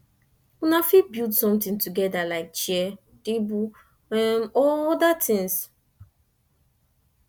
una fit build something together like chair table or oda things